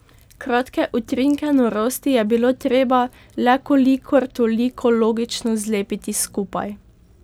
Kratke utrinke norosti je bilo treba le kolikor toliko logično zlepiti skupaj.